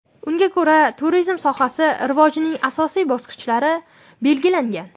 Unga ko‘ra turizm sohasi rivojining asosiy bosqichlari belgilangan.